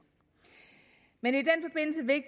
men